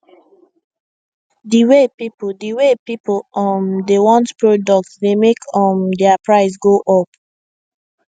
the way people the way people um dey want product dey make um their price go up